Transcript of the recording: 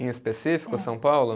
Em específico, São Paulo?